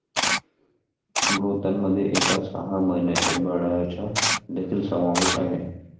मृतांमध्ये एका सहा महिन्यांच्या बाळाचा देखील समावेश आहे.